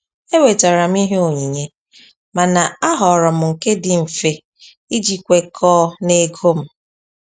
Ewetara m ihe onyinye, mana a họọrọ m nke dị mfe iji kwekọọ na ego m.